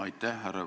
Aitäh!